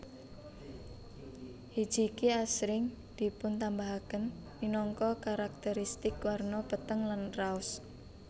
Hijiki asring dipuntambahaken minangka karakterisitik warna peteng lan raos